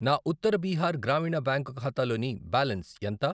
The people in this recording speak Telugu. నా ఉత్తర బీహార్ గ్రామీణ బ్యాంక్ ఖాతాలోని బ్యాలెన్స్ ఎంత?